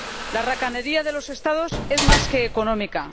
La racanería de los Estados es más que económica.